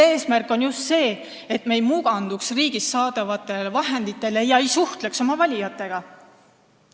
Eesmärk on just see, et me ei muutuks riigilt saadavate vahendite tõttu mugavaks ega suhtleks oma valijatega.